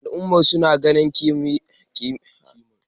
al'ummar suna ganin kimar kayan sarki